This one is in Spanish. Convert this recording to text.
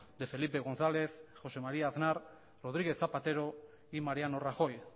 de felipe gonzález josé maría aznar rodríguez zapatero y mariano rajoy